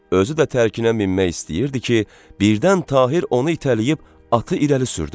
Özü də tərkinə minmək istəyirdi ki, birdən Tahir onu itələyib atı irəli sürdü.